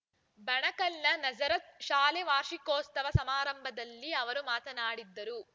ಬಣಕಲ್‌ನ ನಜರತ್‌ ಶಾಲೆ ವಾರ್ಷಿಕೋತ್ಸವ ಸಮಾರಂಭದಲ್ಲಿ ಅವರು ಮಾತನಾಡಿದರು